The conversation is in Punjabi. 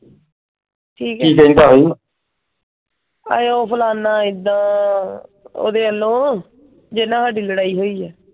ਆਏ ਉਹ ਫਲਾਣਾ ਏਦਾਂ ਉਹਦੇ ਵਲੋਂ ਜਿੰਨਾ ਸਾਡੀ ਲੜਾਈ ਹੋਈ ਆ।